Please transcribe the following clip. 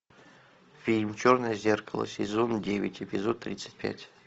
фильм черное зеркало сезон девять эпизод тридцать пять